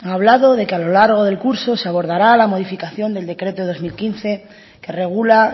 ha hablado de que a lo largo del curso se abordará la modificación del decreto dos mil quince que regula